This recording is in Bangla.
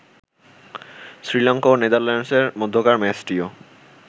শ্রীলঙ্কা ও নেদারল্যান্ডসের মধ্যকার ম্যাচটিও